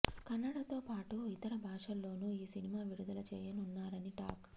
కన్నడతో పాటు ఇతర భాషల్లోనూ ఈ సినిమా విడుదల చేయనున్నారని టాక్